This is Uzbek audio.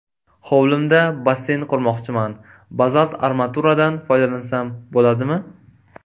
Hovlimda basseyn qurmoqchiman, bazalt armaturadan foydalansam bo‘ladimi?